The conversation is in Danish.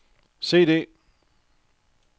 CD